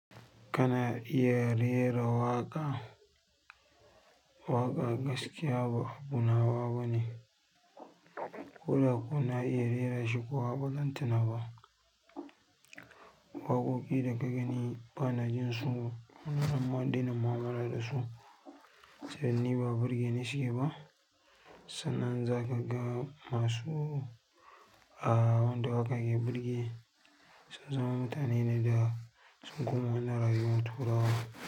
Kana iya rera waƙa? Waƙa gaskiya ba abu na bane. Ko da kuwa na iya rera shi kuwa ba zan tuna ba. Waƙoƙi da ka gani ba na jin su kuma na dena mu'amala da su, don ni ba burge ni suke ba. Sannan za ka ga masu a wanda hakan ya burge, sun zama mutane ne da sun koma na rayuwar turawa.